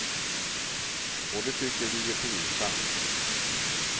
Och det tycker vi är pinsamt.